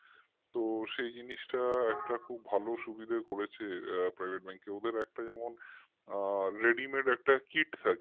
তো সেই জিনিসটা একটা খুব ভালো সুবিধা করেছে আপনার এই bank ওদের একটা যেমন ready made একটা kit থাকে